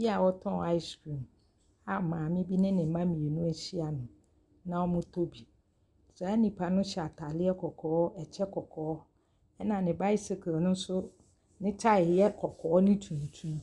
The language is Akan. Bi a ɔtɔ ice cream a maame bi ne ne mma mmienu ahyia no na wɔretɔ bi. Saa nipa no hyɛ ataadeɛ kɔkɔɔ ne kyɛ kɔkɔɔ. Na ne bicycle no nso ne tae yɛ kɔkɔɔ ne tuntum.